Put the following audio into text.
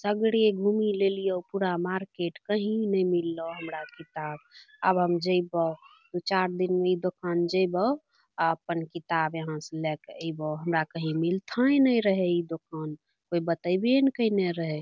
सगरे घूमि लेलियो पूरा मार्केट कहीं नेए मिललौ हमरा किताब आब हम जएबौ दू-चार दिन मे इ दोकान जएबौ आ अपन किताब यहां स लेए के अएबो हमरा कहीं मिलते नए रहे इ दोकान कोय बतेबे नए कैएने रहै।